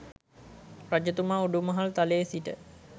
රජතුමා උඩුමහල් තලයේ සිට